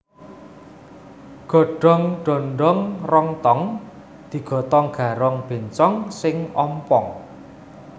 Godong dondong rong tong digotong garong bencong sing ompong